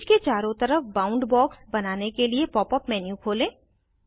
image के चारों तरफ बाउंड बॉक्स बनाने के लिए पॉप अप मेन्यू खोलें